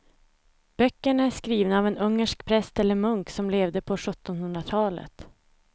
Böckerna är skrivna av en ungersk präst eller munk som levde på sjuttonhundratalet.